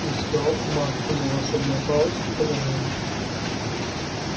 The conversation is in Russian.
и что маг ему волшебную палочку подарил